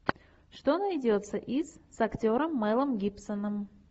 что найдется из с актером мэлом гибсоном